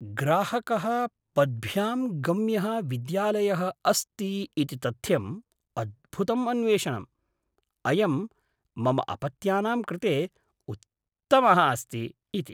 ग्राहकः पद्भ्यां गम्यः विद्यालयः अस्ति इति तथ्यम् अद्भुतम् अन्वेषणम्, अयं मम अपत्यानां कृते उत्तमः अस्ति इति।